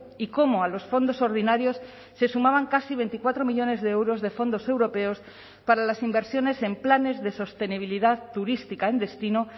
y cómo a los fondos ordinarios se sumaban casi veinticuatro millónes de euros de fondos europeos para las inversiones en planes de sostenibilidad turística en destino